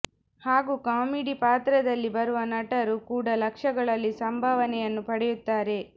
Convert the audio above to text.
ಹಾಗೂ ಕಾಮಿಡಿ ಪಾತ್ರದಲ್ಲಿ ಬರುವ ನಟರು ಕೂಡ ಲಕ್ಷಗಳಲ್ಲಿ ಸಂಭಾವನೆಯನ್ನು ಪಡೆಯುತ್ತಾರೆ